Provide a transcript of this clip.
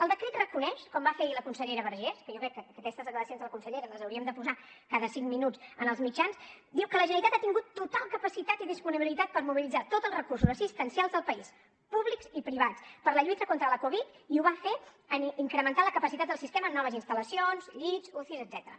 el decret reconeix com va fer la consellera vergés que jo crec que aquestes declaracions de la consellera les hauríem de posar cada cinc minuts en els mitjans diu que la generalitat ha tingut total capacitat i disponibilitat per mobilitzar tots els recursos assistencials del país públics i privats per a la lluita contra la covid i ho va fer incrementant la capacitat del sistema amb noves instal·lacions llits ucis etcètera